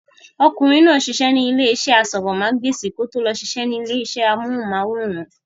Ọkùnrin náà ń sisẹ́ ní ilé iṣẹ́ asọ̀rọ̀mágbèsì kí ó tó lọ sisẹ́ ní ilé iṣẹ́ amóhùnmáwòrán